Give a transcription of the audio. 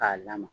K'a lamaga